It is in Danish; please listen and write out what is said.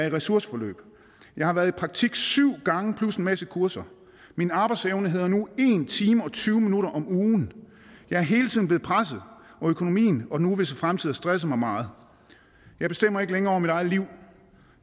i ressourceforløb jeg har været i praktik syv gange plus en masse kurser min arbejdsevne hedder nu en time og tyve minutter om ugen jeg er hele tiden blevet presset og økonomien og den uvisse fremtid har stresset mig meget jeg bestemmer ikke længere over mit eget liv